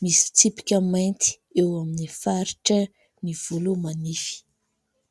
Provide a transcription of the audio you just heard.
misy tsipika mainty eo amin'ny faritra ny volo manify.